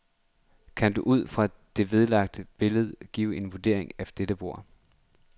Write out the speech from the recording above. Kan du ud fra det vedlagte billede give en vurdering af dette bord?